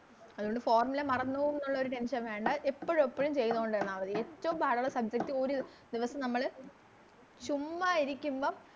അതുകൊണ്ട് Formula മറന്ന് പോകുന്നൊള്ള ഒരു Tension വേണ്ട എപ്പഴും എപ്പഴും ചെയ്തോണ്ടിരുന്ന മതി ഏറ്റോം പാടൊല്ല Subject ഒര് ദിവസം നമ്മള് ചുമ്മാ ഇരിക്കുമ്പം